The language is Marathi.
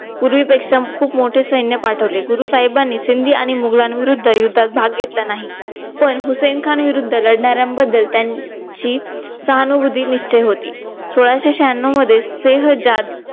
पूर्वी पेक्षा खूप मोठे सैन्य पाठवले. गुरु साहेबांनी सिंधी आणि मुघलांविरुद्ध युद्धात भाग घेतला नाही. पण हुसेन खान विरुद्ध लढणार्यांबद्दल त्यांची सहानुभूती निश्चय होती. सोळाशे शहाण्यव मध्ये सिहं जात